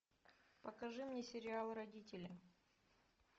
покажи мне сериал родители